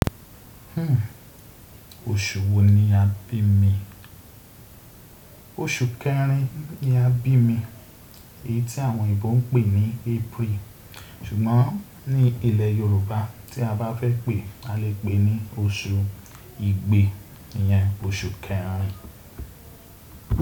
Oṣù wo ni a bí mi? Oṣù kẹrin ni a bí mi, èyí tí àwọn oyinbo ń pè ní April. Ṣùgbọ́n ní ilẹ̀ Yorùbá tí a bá fẹ́ pè, a lè pè ní oṣù ìgbé. Ìyẹn oṣù kẹrin.